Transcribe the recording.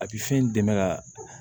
A bɛ fɛn in dɛmɛ ka